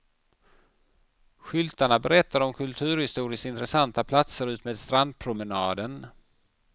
Skyltarna berättar om kulturhistoriskt intressanta platser utmed strandpromenaden.